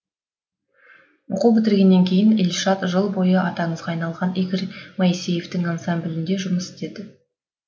оқу бітіргеннен кейін ильшат жыл бойы аты аңызға айналған игорь моисеевтің ансамблінде жұмыс істед